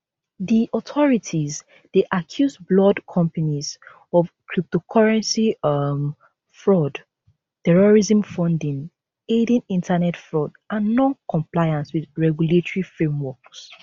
di authorities dey accuse blord companies of cryptocurrency um fraud terrorism funding aiding internet fraud and noncompliance wit regulatory frameworks